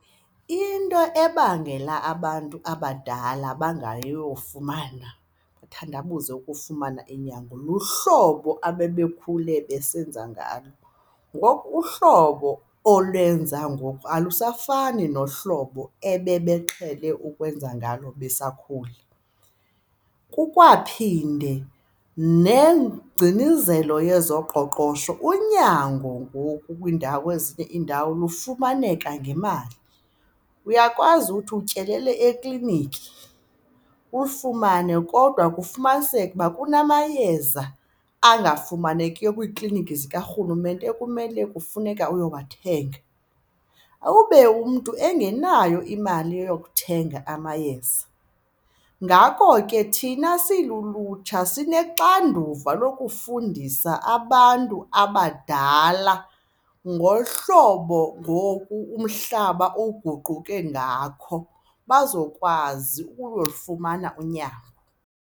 Into ebangela abantu abadala bangayofumana, bathandabuze ukufumana unyango luhlobo ababekhule besenza ngalo. Ngoku uhlobo olwenza ngoku alusafani nohlobo ebebeqhele ukwenza ngalo besakhula. Kukwaphinde nengcinizelo yezoqoqosho unyango ngoku kwiindawo ezinye iindawo lufumaneka ngemali. Uyakwazi uthi utyelele ekliniki ulifumane kodwa kufumaniseke ukuba kunamayeza angafumanekiyo kwiikliniki zikarhulumente ekumele kufuneka uyowathenga, ube umntu engenayo imali yokuthenga amayeza. Ngako ke, thina silulutsha sinexanduva lokufundisa abantu abadala ngohlobo ngoku umhlaba oguquke ngakho bazokwazi ukufumana unyango.